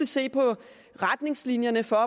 se på retningslinjerne for